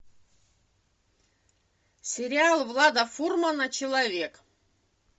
сериал влада фурмана человек